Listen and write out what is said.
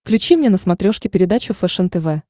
включи мне на смотрешке передачу фэшен тв